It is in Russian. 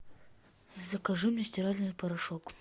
закажи мне стиральный порошок